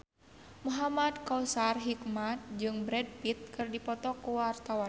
Muhamad Kautsar Hikmat jeung Brad Pitt keur dipoto ku wartawan